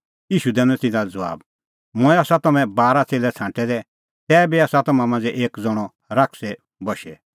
ईशू दैनअ तिन्नां लै ज़बाब मंऐं आसा तम्हैं बारा ज़ण्हैं छ़ांटै दै तैबी आसा तम्हां मांझ़ै एक ज़ण्हअ शैताने बशै